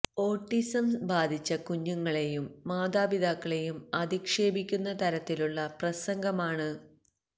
autism ബാധിച്ച കുഞ്ഞുങ്ങളേയും മാതാപിതാക്കളേയും അധിക്ഷേപിക്കുന്ന തരത്തിലുള്ള പ്രസംഗമാണ് ഫാ